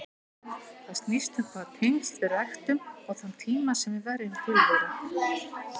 Það snýst um hvaða tengsl við ræktum og þann tíma sem við verjum til þeirra.